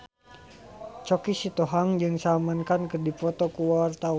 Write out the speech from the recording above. Choky Sitohang jeung Salman Khan keur dipoto ku wartawan